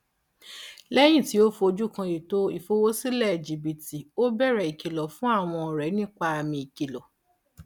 lẹyìn tí ó fojú kàn ètò ìfowósílẹ jibítì ó bẹrẹ kìlọ fún àwọn ọrẹ nípa àmì ìkìlọ